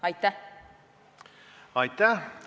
Aitäh!